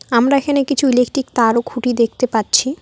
আমরা এখানে কিছু ইলেকট্রিক তার ও খুঁটি দেখতে পাচ্ছি।